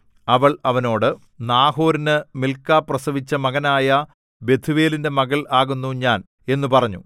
അവൾ അവനോട് നാഹോരിന് മിൽക്കാ പ്രസവിച്ച മകനായ ബെഥൂവേലിന്റെ മകൾ ആകുന്നു ഞാൻ എന്നു പറഞ്ഞു